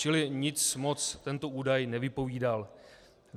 Čili nic moc tento údaj nevypovídal.